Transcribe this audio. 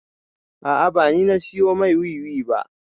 A'a ba ni na siyo mai wiwi ba